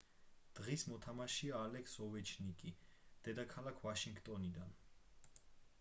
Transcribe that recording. დღის მოთამაშეა ალექს ოვეჩკინი დედაქალაქ ვაშინგტონიდან